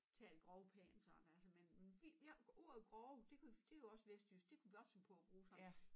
Tale grovpænt sådan altså men vi har ordet grove det kunne det jo også vestjysk det kunne vi også finde på at bruge sammen